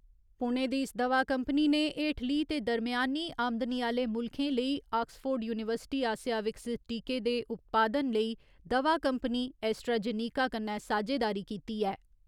पुणे दी इस दवा कंपनी ने हेठली ते दरमेयानी आमदनी आह्‌ले मुल्खें लेई आक्सफो यूनीवर्सिटी आसेआ विकसित टीके दे उत्पादन लेई दवा कंपनी एस्ट्राजेनेका कन्नै सांझेदारी कीती ऐ।